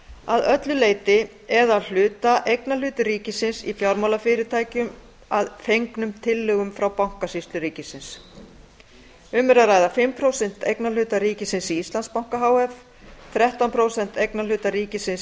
að öllu leyti eða að hluta eignarhluti ríkisins í fjármálafyrirtækjum að fengnum tillögum frá bankasýslu ríkisins um er að ræða fimm prósent eignarhluta ríkisins í íslandsbanka h f þrettán prósent eignarhluta ríkisins